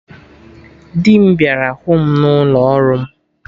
Dị m bịara hụ mụ n'ụlọ ọrụ m